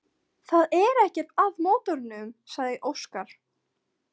Það er ekkert að mótornum, sagði Óskar.